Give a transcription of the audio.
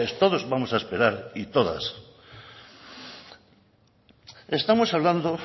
todos vamos a esperar y todas estamos hablando